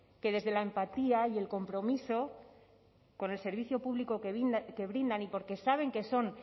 que desde la empatía y el compromiso con el servicio público que brindan y porque saben que son